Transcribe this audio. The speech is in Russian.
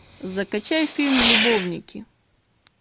закачай фильм любовники